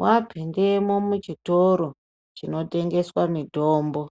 Wapindemwo muchitoro chinotengeswa mitombo